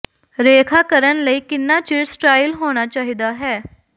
ਰੇਖਾ ਕਰਨ ਲਈ ਕਿੰਨਾ ਚਿਰ ਸਟਾਈਲ ਹੋਣਾ ਚਾਹੀਦਾ ਹੈ